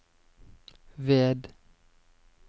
ved